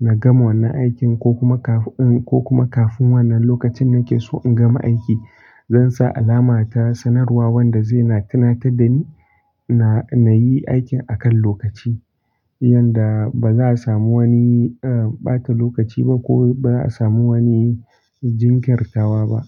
na gama wannan aikin ko kuma kafin, ko kuma kafin wannan lokacin nake so in gama aiki. Zan sa alama ta sanarwa wanda zai na tunatar da ni na, na yi aikin a kan lokaci, yanda ba za a samu wani, eh, ɓata lokaci ba ko ba za a samu wani jinkirtawa ba.